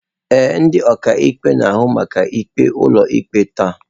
Ee, ndị ọkaikpe na-ahụ maka ikpe ụlọikpe taa.